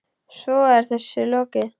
Svo er þessu lokið?